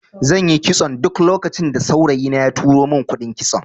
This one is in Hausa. Zanyi kitson duk lokacin da saurayi na ya tura mun kuɗin kitso